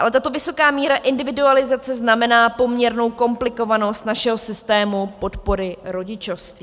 Ale tato vysoká míra individualizace znamená poměrnou komplikovanost našeho systému podpory rodičovství.